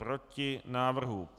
Proti návrhu.